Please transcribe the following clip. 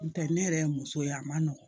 N'o tɛ ne yɛrɛ ye muso ye a ma nɔgɔ